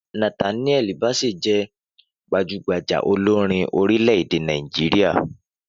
Nathaniel Bassey je gbajúgbajà olorin orílẹ̀-èdè Nàìjíríà